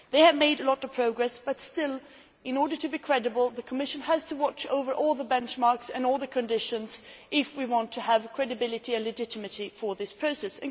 They have made a lot of progress but still, in order to be credible, the Commission has to watch over all the benchmarks and all the conditions if we want to have credibility and legitimacy for this process.